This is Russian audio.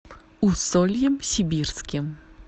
усольем сибирским